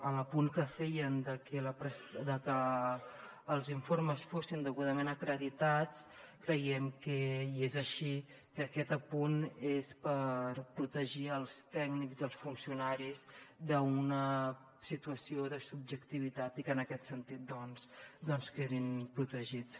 a l’apunt que feien de que els informes fossin degudament acreditats creiem que i és així aquest apunt és per protegir els tècnics i els funcionaris d’una situació de subjectivitat i que en aquest sentit doncs quedin protegits